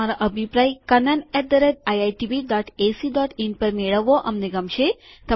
તમારો અભિપ્રાય kannaniitbacin પર મેળવવો અમને ગમશે